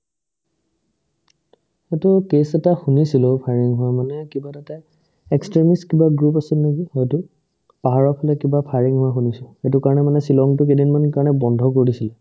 সেটো কেচ এটা শুনিছিলো firing হোৱা মানে কিবা এটা তাত extremist group কিবা আছিল নেকি হয়তো পাহাৰৰফালে কিবা firing হোৱা শুনিছো সেইটো কাৰণে মানে ছিলঙতো কেইদিনমানৰ কাৰণে বন্ধ কৰি দিছিল ।